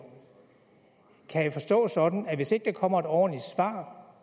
kan det forstås sådan at hvis ikke der kommer ordentlige svar